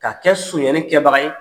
Ka kɛ suɲɛni kɛbaga ye